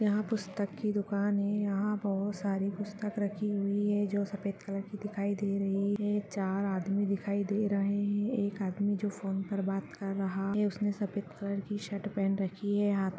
यहाँ पुस्तक की दुकान है यहाँ बहुत सारी पुस्तक राखी हुई है जो सफ़ेद कलर की दिखाई दे रही हैं । चार आदमी दिखाई दे रहे हैं एक आदमी जो फ़ोन पे बात कर रहा है उसने सफ़ेद कलर की शर्ट पहन रखी है हा--